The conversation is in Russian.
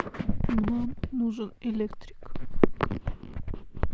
нам нужен электрик